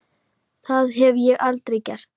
Það hef ég aldrei gert.